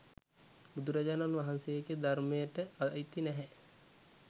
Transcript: බුදුරජාණන් වහන්සේගේ ධර්මයට අයිති නැහැ.